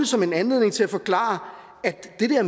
som en anledning til at forklare at